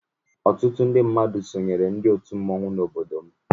Ọtụtụ ndị mmadụ sonyeere ndị otu mmọnwụ n'obodo m.